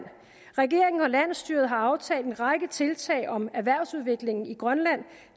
regeringen og landsstyret har aftalt en række tiltag om erhvervsudviklingen i grønland